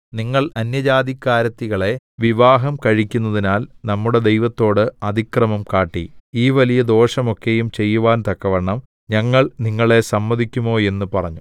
നിങ്ങൾ അന്യജാതിക്കാരത്തികളെ വിവാഹം കഴിക്കുന്നതിനാൽ നമ്മുടെ ദൈവത്തോട് അതിക്രമം കാട്ടി ഈ വലിയ ദോഷം ഒക്കെയും ചെയ്യുവാൻ തക്കവണ്ണം ഞങ്ങൾ നിങ്ങളെ സമ്മതിക്കുമോ എന്ന് പറഞ്ഞു